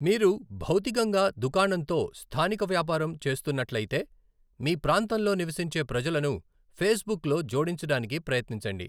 మీరు భౌతికంగా దుకాణంతో స్థానిక వ్యాపారం చేస్తున్నట్లయితే, మీ ప్రాంతంలో నివసించే ప్రజలను ఫేస్బుక్లో 'జోడించడానికి' ప్రయత్నించండి.